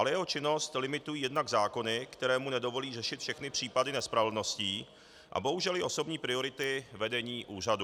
Ale jeho činnost limitují jednak zákony, které mu nedovolí řešit všechny případy nespravedlností, a bohužel i osobní priority vedení úřadu.